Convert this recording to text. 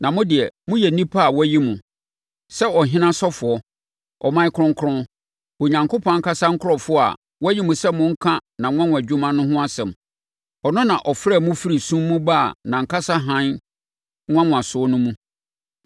Na mo deɛ, moyɛ nnipa a wɔayi mo, sɛ ɔhene asɔfoɔ, ɔman kronkron, Onyankopɔn ankasa nkurɔfoɔ a wɔayi mo sɛ monka nʼanwanwadwuma no ho asɛm. Ɔno na ɔfrɛɛ mo firi sum mu baa nʼankasa hann nwanwaso no mu.